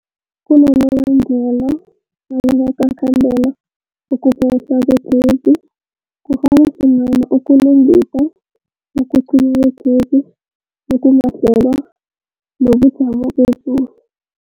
Kunabonobangela abangakhandela ukuphehlwa kwegezi, kufaka hlangana ukulungisa, ukucinywa kwegezi okungakahlelwa, nobujamo bezulu.